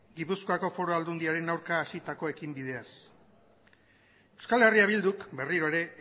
gipuzkoako foru aldundiaren aurka hasitako ekinbideaz euskal herria bilduk berriro ere